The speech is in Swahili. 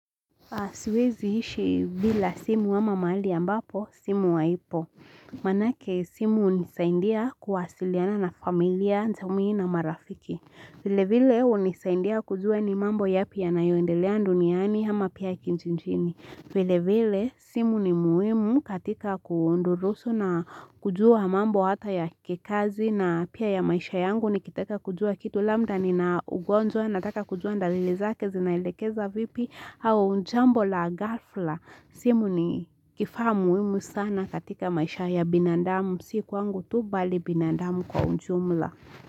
Siwezi ishi bila simu ama mahali ambapo simu haipo Maanake simu hunisaidia kuwasiliana na familia, jamii na marafiki vile vile hunisaidia kujua ni mambo yapi yanayoendelea duniani ama pia kijijini. Vile vile simu ni muhimu katika kudurusu na kujua mambo hata ya kikazi na pia ya maisha yangu nikitaka kujua kitu labda nina ugonjwa nataka kujua dalili zake zinaelekeza vipi au jambo la ghafla simu ni kifaa muhimu sana katika maisha ya binandamu si kwangu tu bali binandamu kwa ujumla.